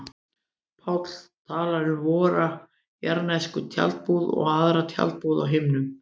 Páll talar um vora jarðnesku tjaldbúð og aðra tjaldbúð á himnum.